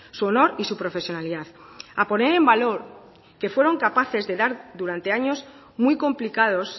su honor y su profesionalidad a poner en valor que fueron capaces de dar durante años muy complicados